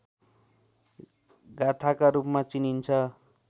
गाथाका रूपमा चिनिन्छ